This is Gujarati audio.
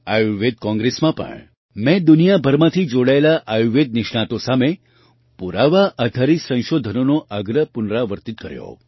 આયુર્વેદ કૉંગ્રેસમાં પણ મેં દુનિયાભરમાંથી જોડાયેલા આયુર્વેદ નિષ્ણાતો સામે પુરાવા આધારિત સંશોધનોનો આગ્રહ પુનરાવર્તિત કર્યો